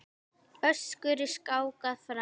Össuri skákað fram.